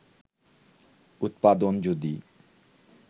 উৎপাদন যদি